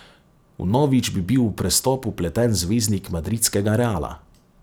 Vnovič bi bil v prestop vpleten zvezdnik madridskega Reala.